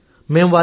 మేం వారికి